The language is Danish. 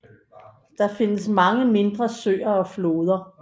Der findes mange mindre søer og floder